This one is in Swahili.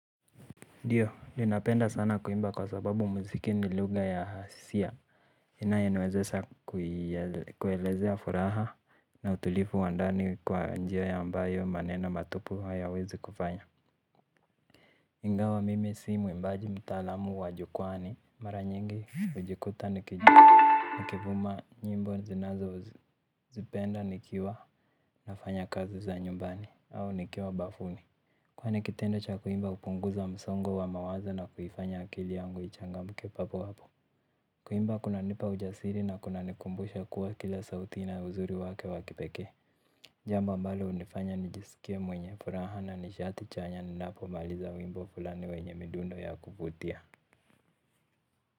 Ndiyo ninapenda sana kuimba kwa sababu muziki ni lugha ya hisia inaye niwezesha kuelezea furaha na utulifu wandani kwa njia ya ambayo maneno matupu hayawezi kufanya. Ingawa mimi si mwimbaji mtaalamu wa jukwaani mara nyingi hujikuta nikijuwa nakivuma nyimbo zinazozipenda nikiwa nafanya kazi za nyumbani au nikiwa bafuni. Kwani kitendo cha kuimba hupunguza msongo wa mawazo na kuifanya akili yangu ichangamke papo hapo. Kuimba kunanipa ujasiri na kunanikumbusha kuwa kila sauti ina uzuri wake wa kipekee. Jambo ambalo hunifanya nijisikie mwenye furaha na nishati chanya ninapomaliza wimbo fulani wenye midundo ya kuvutia.